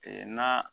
na